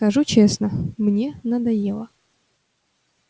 скажу честно мне надоело